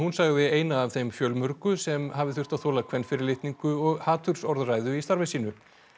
sagði eina af þeim fjölmörgu sem hafi þurft að þola kvenfyrirlitningu og hatursorðræðu í starfi sínu